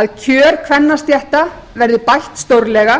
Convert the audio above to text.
að kjör kvennastétta verði bætt stórlega